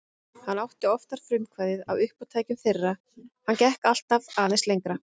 Hann átti oftar frumkvæðið að uppátækjum þeirra og hann gekk alltaf aðeins lengra.